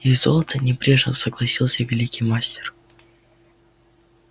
и золото небрежно согласился великий мастер